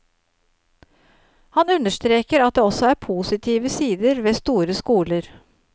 Han understreker at det også er positive sider ved store skoler.